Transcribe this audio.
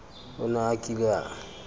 o ne a kile a